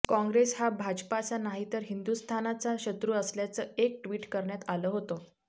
काँग्रेस हा भाजपाचा नाही तर हिंदुस्थानाचा शत्रू असल्याचं एक ट्विट करण्यात आलं होतं